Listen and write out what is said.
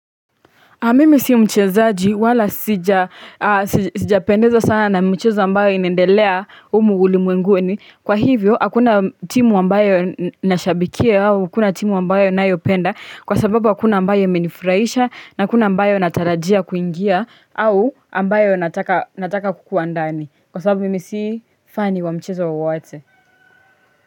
Mimi si mchezaji wala sijapendezwa sana na micheza ambayo inaendelea humu ulimwenguni Kwa hivyo hakuna timu ambayo nashabikia au huna timu ambayo ninayopenda Kwa sababu hakuna ambayo imenifurahisha na hakuna ambayo natarajia kuingia au ambayo nataka kukuwa ndani Kwa sababu mimi si fani wa mchezo wowote.